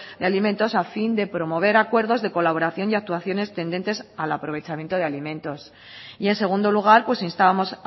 de alimentos a fin de promover acuerdos de colaboración y actuaciones tendentes al aprovechamiento de alimentos y en segundo lugar pues instábamos